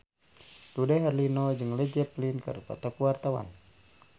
Dude Herlino jeung Led Zeppelin keur dipoto ku wartawan